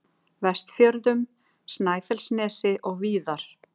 Vestfjörðum, Snæfellsnesi og víðar.